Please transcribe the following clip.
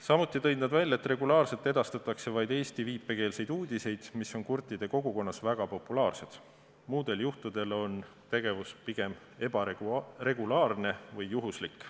Samuti tõid nad välja, et regulaarselt edastatakse uudiseid vaid eesti viipekeeles, need on kurtide kogukonnas väga populaarsed, muudel juhtudel on tegevus pigem ebaregulaarne või juhuslik.